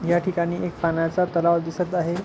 या ठिकाणी एक पाण्याचा तलाव दिसत आहे.